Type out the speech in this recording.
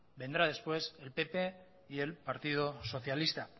vendrá después el pp y el partido socialista